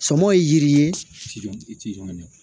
Sɔmɔ ye yiri ye jɔn ɲɛ